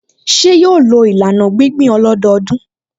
Ṣé yóò lo ìlànà gbíngbìn ọlọ́dọọdún?